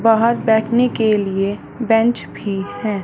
बाहर बैठने के लिए बेंच भी है।